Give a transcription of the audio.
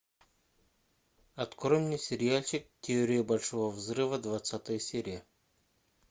открой мне сериальчик теория большого взрыва двадцатая серия